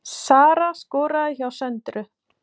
Sara skoraði hjá Söndru